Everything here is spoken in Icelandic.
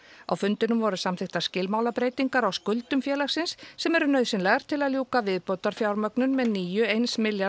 á fundinum voru samþykktar skilmálabreytingar á skuldum félagins sem eru nauðsynlegar til að ljúka viðbótarfjármögnun með nýju eins milljarðs